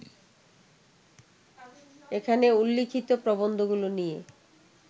এখানে উল্লিখিত প্রবন্ধগুলো নিয়ে